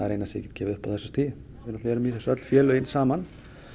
eina sem ég get gefið upp að þessu stigi við erum í þessu öll félögin saman